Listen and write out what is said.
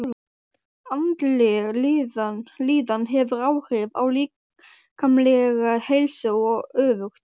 Andleg líðan hefur áhrif á líkamlega heilsu og öfugt.